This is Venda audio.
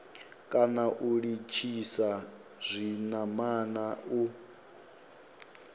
kana u litshisa zwinamana u